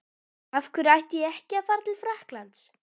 Af hverju ætti ég ekki að fara til Frakklands?